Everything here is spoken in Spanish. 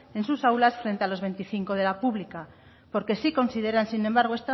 en sus aulas frente a los veinticinco de la pública porque sí consideran sin embargo